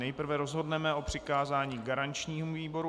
Nejprve rozhodneme o přikázání garančnímu výboru.